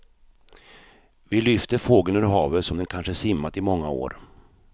Vi lyfter fågeln ur havet som den kanske simmat i många år.